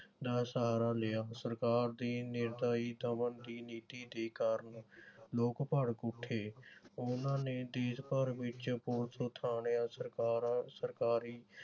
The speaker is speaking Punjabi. ਦਾ ਸਹਾਰਾ ਲਿਆ। ਸਰਕਾਰ ਦੀ ਦਮਨ ਦੀ ਨੀਤੀ ਦੇ ਕਾਰਨ ਲੋਕ ਭੜਕ ਉਠੇ। ਉਨ੍ਹਾਂ ਨੇ ਦੇਸ਼ ਭਰ ਵਿਚ ਪੁਲਿਸ ਥਾਣਿਆਂ, ਸਰਕਾਰਾ ਸਰਕਾਰੀ